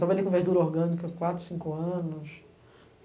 Trabalhei com verdura orgânica, quatro, cinco anos.